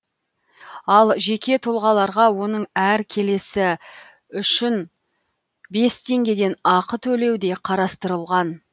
ал жеке тұлғаларға оның әр келісі үшін бес теңгеден ақы төлеу де қарастырылған